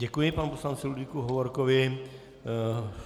Děkuji panu poslanci Ludvíku Hovorkovi.